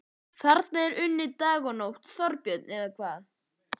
Þarna er unnið dag og nótt, Þorbjörn, eða hvað?